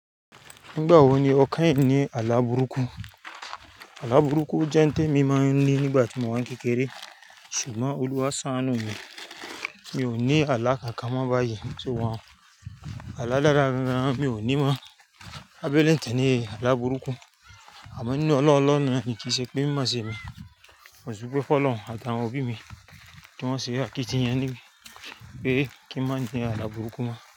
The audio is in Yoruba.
Nígbà wo ni o kanyin ní àlá burúkú? Àlá burúkú jẹ́ ohun tí mo máa ń ní nígbà tí mo wà n kékeré, ṣùgbọ́n Olúwa sàanu mi. Mi ò ní àlá kankan mọ́ báyìí, ṣùgbọ́n àlá dára gan mi ò ní mọ́. Án bele tẹni àlá burúkú, àmọ́ ní ọlá Ọlọhun náà ni kí í ṣe pé mimọṣe mi, ò sí pé Fọlọ́run àti àwọn òbí mi tí wọ́n se akitiyan pe kí n má ní àlá burúkú mọ́.